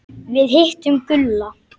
Við hittum Gulla.